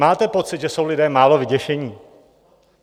Máte pocit, že jsou lidé málo vyděšení?